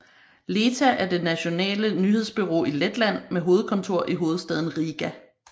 LETA er det nationale nyhedsbureau i Letland med hovedkontor i hovedstaden Riga